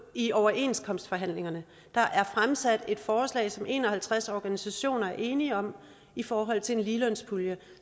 i overenskomstforhandlingerne der er fremsat et forslag som en og halvtreds organisationer er enige om i forhold til en ligelønspulje